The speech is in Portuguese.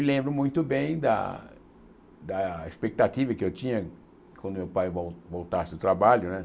Me lembro muito bem da da expectativa que eu tinha quando meu pai vol voltasse do trabalho, né?